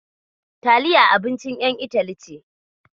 Taliya abincin ƴan Itali ce.